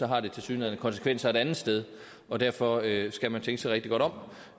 har det tilsyneladende konsekvenser et andet sted og derfor skal man tænke sig rigtig godt om